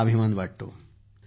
आम्हाला अभिमान वाटत आहे